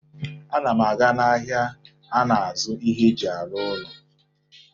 Ana m aga n'ahịa na-azụ ihe e ji arụ ụlọ.